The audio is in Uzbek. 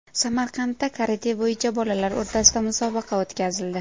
Samarqandda karate bo‘yicha bolalar o‘rtasida musobaqa o‘tkazildi .